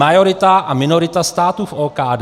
Majorita a minorita státu v OKD.